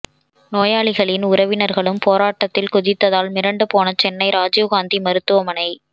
நோயாளிகளின் உறவினர்களும் போராட்டத்தில் குதித்ததால் மிரண்டுபோன சென்னை ராஜீவ் காந்தி மருத்துவமனை